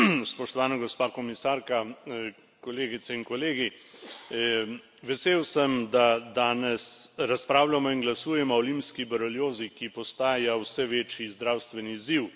Spoštovana gospa komisarka, kolegice in kolegi, vesel sem, da danes razpravljamo in glasujemo o limski boreliozi, ki postaja vse večji zdravstveni izziv.